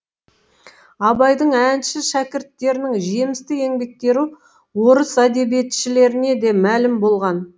абайдың әнші шәкірттерінің жемісті еңбектері орыс әдебиетшілеріне де мәлім болған